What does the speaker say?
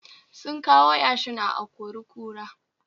Sun kawo yashin a a-kori-kura